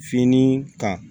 Fini kan